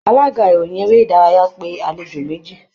Alága ìròyìn eré ìdárayá pé àlejò méjì